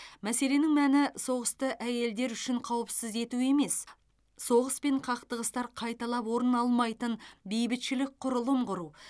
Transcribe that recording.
мәселенің мәні соғысты әйелдер үшін қауіпсіз ету емес соғыс пен қақтығыстар қайталап орын алмайтын бейбітшілік құрылым құру